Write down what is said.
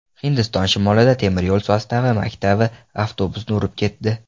Hindiston shimolida temir yo‘l sostavi maktab avtobusini urib ketdi.